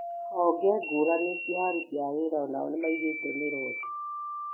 Honge ngũrani cia aruti a wĩra onao nĩmaigĩte mĩro thĩ